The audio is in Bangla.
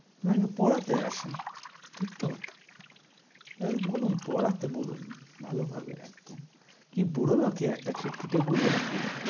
নাকি পড়াতে আসে, ঠিক তো? এ বলুন পড়াতে বলুন ভালোভাবে একদম। কী বুড়ো নাকি একটা খিটখিটে বুড়ো নাকি?